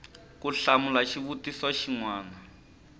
ku hlamula xivutiso xin wana